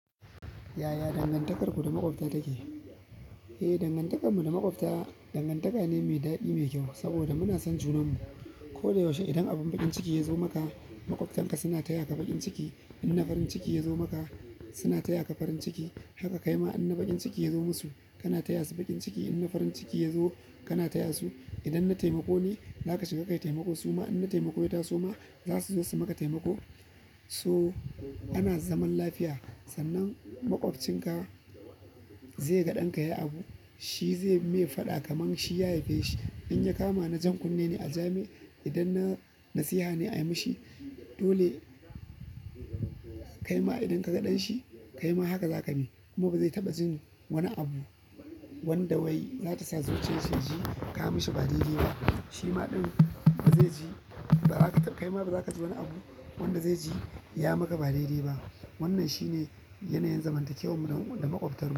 Yaya dangantakar ku da maqopta take. Eh, dangantakarmu da maƙwabta dangantaka ne mai daɗi mai kyau saboda muna son junanmu. Ko da yaushe idan abin baƙin ciki ya zo maka maƙwabtanka suna taya ka baƙin ciki. Inna farin ciki ya zo maka suna taya ka farin ciki. Haka kai ma in na baƙin ciki ya zo musu kana taya su baƙin ciki. Inna farin ciki ya zo kana taya su. Idan na taimako ne, za ka shiga ka yi taimako. Su ma in na taimako ya taso ma, za su zo su maka taimako. So ana zaman lafiya. Sannan maƙwabcin ka zai ga ɗan ka yi abu, shi zai maye faɗa kamar shi ya aife shi. In ya kama na jan kunne ne a ja mai, idan na nasiha ne a yi mishi, dole kai ma idan ka ga dan shi kai ma haka za ka yi kuma ba zai taɓa jin wani abu wanda wai za ta sa zuciyarsa ji ka yi mishi ba daidai ba. Shi ma din ba zai ji baza ka kai ma ba baza ka ji wani abu wanda zai ji ya maka ba daidai ba wannan shine yanayin zamantakewar mu da maƙwabtarmu.